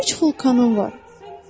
Üç vulkanım var.